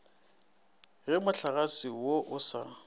ge mohlagase wo o sa